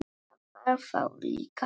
Það var þá líka líf!